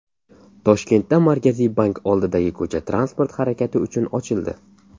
Toshkentda Markaziy bank oldidagi ko‘cha transport harakati uchun ochildi.